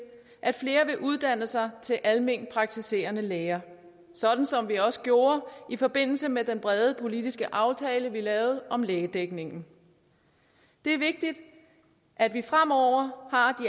at flere vil uddanne sig til alment praktiserende læger sådan som vi også gjorde i forbindelse med den brede politisk aftale vi lavede om lægedækningen det er vigtigt at vi fremover har